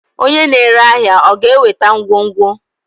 onye na-ere ahịa ọ ga-eweta ngwongwo?